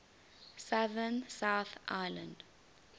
southern south island